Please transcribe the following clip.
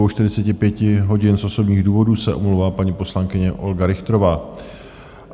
Od 22.45 hodin z osobních důvodů se omlouvá paní poslankyně Olga Richterová.